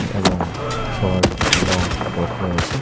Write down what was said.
এবং short long frock রয়েছে।